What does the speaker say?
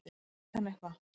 Kannski veit hann eitthvað.